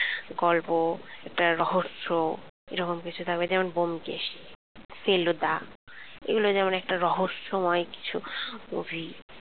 গল্প একটা রহস্য এরকম কিছু থাকবে। যেমন ব্যোমকেশ ফেলুদা এগুলো তেমন একটা রহস্যময় কিছু movie